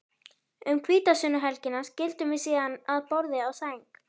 Um hvítasunnuhelgina skildum við síðan að borði og sæng.